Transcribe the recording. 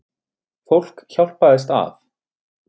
Fólk hjálpaðist að.